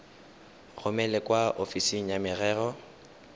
romele kwa ofising ya merero